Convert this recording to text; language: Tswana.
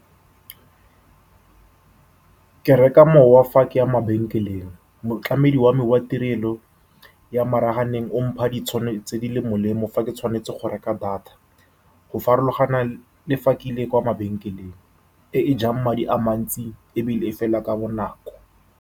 Ke reka mowa fa ke ya mabenkeleng. Motlamedi wa me wa tirelo ya maranyaneng o mpha tse di molemo fa ke tshwanetse go reka data, go farologana le fa ke ile kwa mabenkeleng, e e jang madi a mantsi ebile e fela ka bonako.